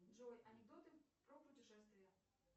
джой анекдоты про путешествия